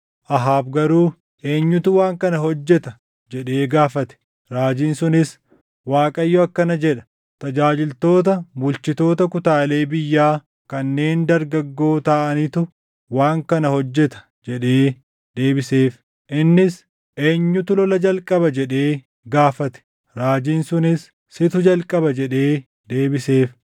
Ahaab garuu, “Eenyutu waan kana hojjeta?” jedhee gaafate. Raajiin sunis, “ Waaqayyo akkana jedha; ‘Tajaajiltoota bulchitoota kutaalee biyyaa kanneen dargaggoo taʼanitu waan kana hojjeta’ ” jedhee deebiseef. Innis, “Eenyutu lola jalqaba?” jedhee gaafate. Raajiin sunis, “Situ jalqaba” jedhee deebiseef.